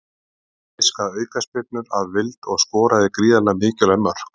Gat fiskað aukaspyrnur af vild og skoraði gríðarlega mikilvæg mörk.